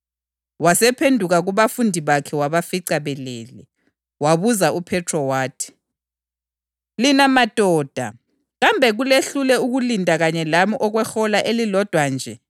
Wahamba ibanganyana, wazilahla phansi wathi mbo ngobuso wakhuleka wathi, “Baba, nxa kungenzeka, sengathi inkezo le ingasuswa kimi. Kodwa akungabi yintando yami, kodwa kube yintando yakho.”